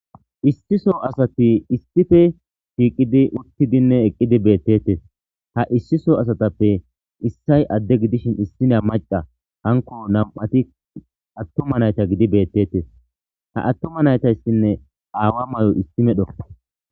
issiso asati issife shiiqidi uttidinne eqqidi beettetes ha issiso asatappe issay adde gidishin issina maca hanko nam7ati attuma nayta gidi beettettes ha attuma naytayssinne aawa may7o issi medho